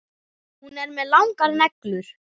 Hún er með langar neglur.